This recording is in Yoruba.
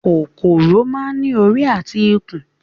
kòkòrò máa ń ní orí àti ikùn